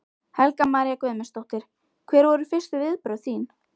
Helga María Guðmundsdóttir: Hver voru fyrstu viðbrögð þín?